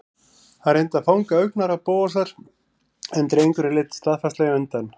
Hann reyndi að fanga augnaráð Bóasar en drengurinn leit staðfastlega undan.